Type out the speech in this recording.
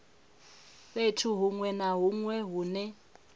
fhethu hunwe na hunwe hune